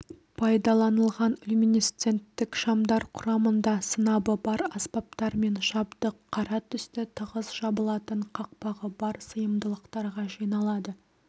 пайдаланылған люминесценттік шамдар құрамында сынабы бар аспаптар мен жабдық қара түсті тығыз жабылатын қақпағы бар сыйымдылықтарға жиналады